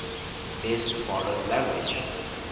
best foreign language